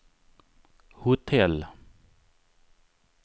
hotell